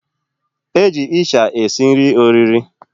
Eji isha esi nri oriri.